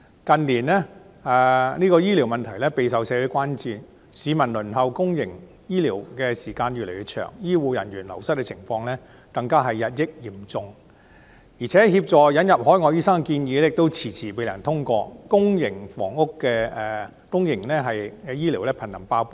近年，醫療問題備受社會關注，市民輪候公營醫療服務的時間越來越長，醫護人員流失的情況更日益嚴重，引入海外醫生的建議亦遲遲未能通過，公營醫療瀕臨"爆煲"。